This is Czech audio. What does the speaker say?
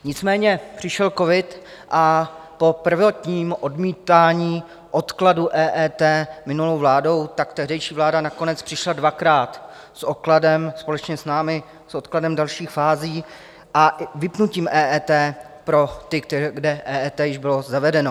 Nicméně přišel covid a po prvotním odmítání odkladu EET minulou vládou tak tehdejší vláda nakonec přišla dvakrát s odkladem - společně s námi - s odkladem dalších fází a vypnutím EET pro ty, kde EET již bylo zavedeno.